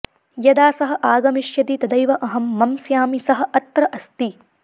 यदा सः आगमिष्यति तदैव अहं मंस्यामि सः अत्र अस्ति